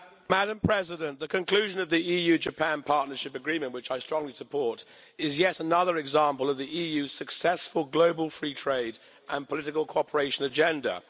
Madam President, the conclusion of the EU Japan Partnership Agreement which I strongly support is yet another example of the EU's successful global free trade and political cooperation agenda.